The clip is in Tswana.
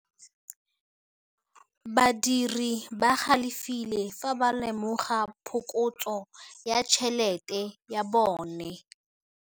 Badiri ba galefile fa ba lemoga phokotsô ya tšhelête ya bone.